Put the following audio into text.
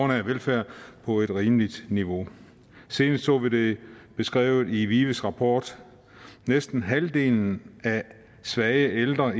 velfærd på et rimeligt niveau senest så vi det beskrevet i vives rapport næsten halvdelen af svage ældre